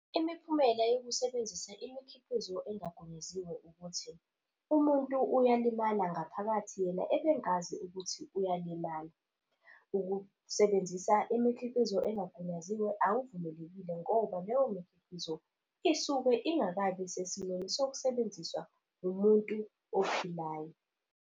Imiphumela yokusebenzisa imikhiqizo engagunyaziwe ukuthi, umuntu uyalimala ngaphakathi yena ebengazi ukuthi uyalimala. Ukusebenzisa imikhiqizo engagunyaziwe akuvumelekile ngoba leyo mikhiqizo isuke ingakabi sesimweni sokusebenziswa umuntu ophilayo.